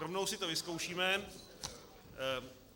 Rovnou si to vyzkoušíme.